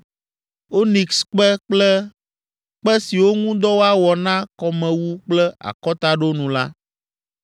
onikskpe kple kpe siwo ŋu dɔ woawɔ na kɔmewu kple akɔtaɖonu la.